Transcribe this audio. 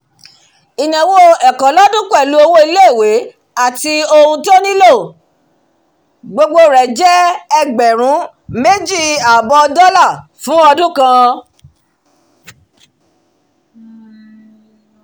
ìnáwó ẹ̀kọ́ lọ́dún pẹ̀lú owó ilé-ìwé àti ohun tó nílò gbogbo rẹ̀ jẹ́ ẹgbẹ̀rún méjì àbọ̀ dollar fún ọdún kan